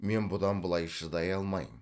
мен бұдан былай шыдай алмайм